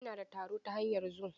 Ina da taro ta hanyar zum.